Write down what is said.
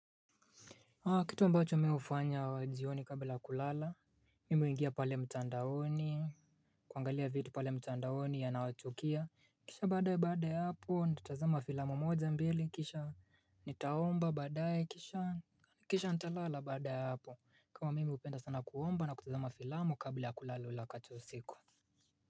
Kitu ambacho mimi hufanya jioni kabla ya kulala Mimi huingia pale mtandaoni kuangalia vitu pale mtandaoni yanayochukia Kisha badaye baada ya hapo nitatazama filamu moja mbili kisha Nitaomba baada ye kisha Kisha nitalala baada ya hapo kwa mimi hupenda sana kuomba na kutazema filamu kabla ya kulala ule wakati wa usiku.